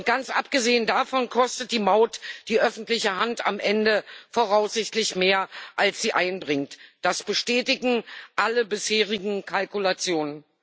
Ganz abgesehen davon kostet die Maut die öffentliche Hand am Ende voraussichtlich mehr, als sie einbringt. Das bestätigen alle bisherigen Kalkulationen.